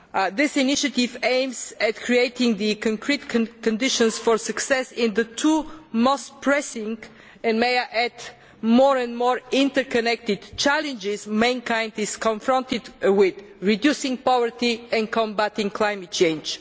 This initiative aims to create the concrete conditions for success in the two most pressing and, may I add, increasingly interconnected challenges mankind is confronted with reducing poverty and combating climate change.